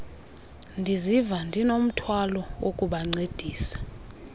ndiziva ndinomthwalo wokubancedisa